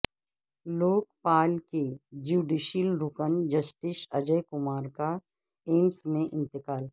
لوک پال کے جیوڈیشیل رکن جسٹس اجے کمار کا ایمس میں انتقال